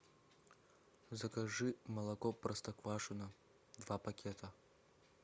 закажи молоко простоквашино два пакета